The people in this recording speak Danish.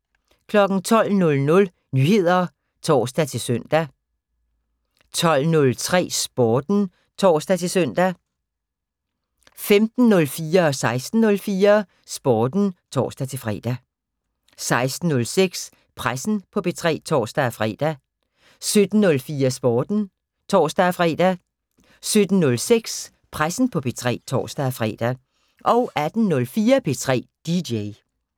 12:00: Nyheder (tor-søn) 12:03: Sporten (tor-søn) 15:04: Sporten (tor-fre) 16:04: Sporten (tor-fre) 16:06: Pressen på P3 (tor-fre) 17:04: Sporten (tor-fre) 17:06: Pressen på P3 (tor-fre) 18:04: P3 DJ